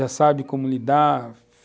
Já sabe como lidar.